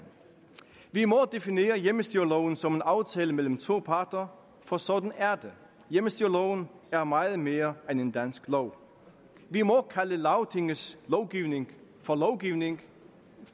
vi må definere hjemmestyreloven som en aftale mellem to parter for sådan er det hjemmestyreloven er meget mere end en dansk lov vi må kalde lagtingets lovgivning for lovgivning